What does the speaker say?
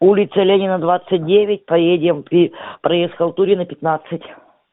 улица ленина двадцать девять поедем проезд халтурина пятнадцать